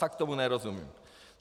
Fakt tomu nerozumím.